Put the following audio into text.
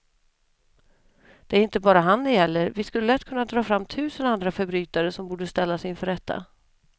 Det är inte bara han det gäller, vi skulle lätt kunna dra fram tusen andra förbrytare som borde ställas inför rätta.